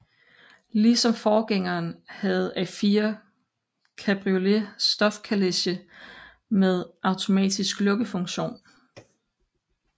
Ligesom forgængeren havde A4 Cabriolet stofkaleche med automatisk lukkefunktion